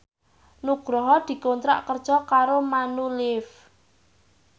Nugroho dikontrak kerja karo Manulife